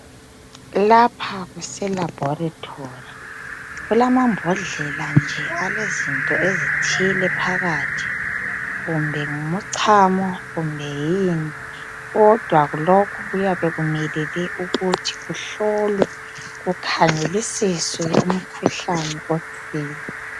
Lapha kuselabholitholi. Kulamabhodlela nje alezinto ezithile phakathi. Kumbe ngumcamo kumbe yini. Kodwa lokhu kuyabe kumelele ukuthi kuhlolwe kukhangelisiswe imikhuhlane etshiyeneyo.